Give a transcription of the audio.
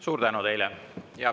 Suur tänu teile!